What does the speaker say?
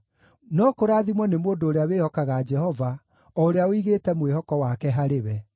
“No kũrathimwo nĩ mũndũ ũrĩa wĩhokaga Jehova, o ũrĩa ũigĩte mwĩhoko wake harĩ we.